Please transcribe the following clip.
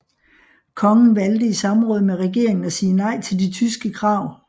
Kongen valgte i samråd med regeringen at sige nej til de tyske krav